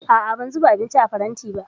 A'a, ban zuba abinci a faranti ba